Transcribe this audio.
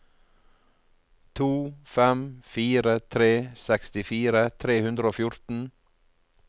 to fem fire tre sekstifire tre hundre og fjorten